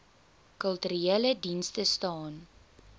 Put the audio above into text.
kulturele dienste staan